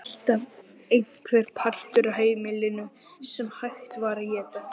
Alltaf einhver partur af heimilinu sem hægt var að éta.